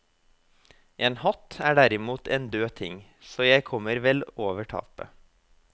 En hatt er derimot en død ting, så jeg kommer vel over tapet.